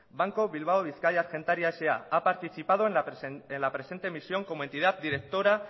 banco bilbao vizcaya argentaria sa ha participado en la presente emisión como entidad directora